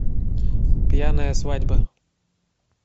пьяная свадьба